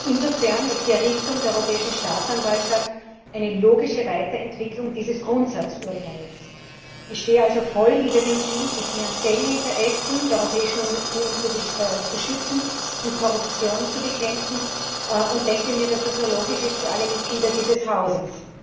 Insofern ist die Errichtung der Europäischen Staatsanwaltschaft eine logische Weiterentwicklung dieses Grundsatzurteils. Ich stehe also voll hinter dem Ziel, die finanziellen Interessen der Europäischen Union zu schützen und Korruption zu bekämpfen, und denke mir, dass das nur logisch ist für alle Mitglieder dieses Hauses.